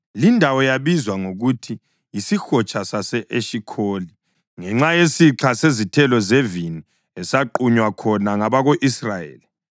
Lindawo yabizwa ngokuthi yisihotsha sase-Eshikholi ngenxa yesixha sezithelo zevini esaqunywa khona ngabako-Israyeli.